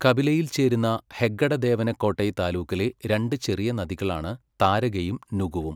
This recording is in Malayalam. കപിലയിൽ ചേരുന്ന ഹെഗ്ഗഡദേവന കോട്ടെ താലൂക്കിലെ രണ്ട് ചെറിയ നദികളാണ് താരകയും നുഗുവും.